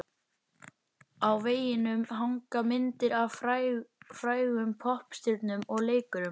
Á veggjunum hanga myndir af frægum poppstjörnum og leikurum.